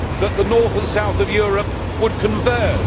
that the North and South of Europe would converge